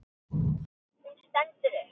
Hún stendur upp.